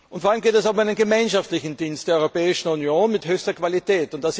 Vor allem geht es um einen gemeinschaftlichen Dienst der Europäischen Union mit höchster Qualität.